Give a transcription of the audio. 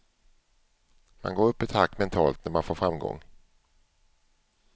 Man går upp ett hack mentalt när man får framgång.